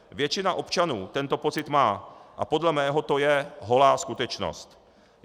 Většina občanů tento pocit má a podle mého to je holá skutečnost.